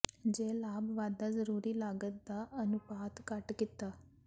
ਜੇ ਲਾਭ ਵਾਧਾ ਜ਼ਰੂਰੀ ਲਾਗਤ ਦਾ ਅਨੁਪਾਤ ਘੱਟ ਕੀਤਾ